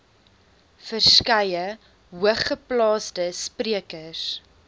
verskeie hoogeplaasde sprekers